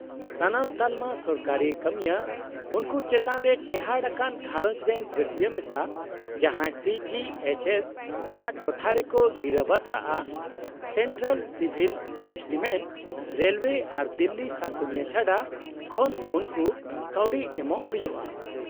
- ᱥᱟᱱᱟᱢ ᱛᱟᱞᱚᱢᱟ ᱥᱚᱨᱠᱟᱨᱤ ᱠᱟᱹᱢᱤᱭᱟᱹ ᱩᱱᱠᱩ ᱪᱮᱛᱟᱱ ᱨᱮ ᱴᱮᱦᱟᱴ ᱟᱠᱟᱱ ᱜᱷᱟᱸᱨᱚᱡᱽᱨᱮᱱ ᱨᱟᱹᱥᱤᱭᱟᱹ ᱢᱮᱥᱟ ᱡᱟᱦᱟᱸᱭ ᱥᱤ ᱡᱤ ᱮᱭᱤᱪ ᱮᱥ ᱟᱜ ᱴᱚᱴᱷᱟᱨᱮᱠᱚ ᱜᱤᱨᱟᱹᱵᱟᱥᱼᱟ , ᱥᱮᱱᱴᱨᱟᱞ ᱥᱤᱵᱷᱤᱞ ᱮᱥᱴᱤᱢᱮᱴ ( ᱨᱮᱞᱳᱭᱮ ᱟᱨ ᱫᱤᱞᱞᱤ ᱥᱟᱥᱚᱱᱤᱭᱟᱹ ᱪᱷᱟᱰᱟ) ᱠᱷᱚᱱ ᱩᱱᱠᱩ ᱠᱟᱹᱣᱰᱤ ᱮᱢᱟᱠᱚ ᱦᱩᱭᱩᱜᱼᱟ ᱾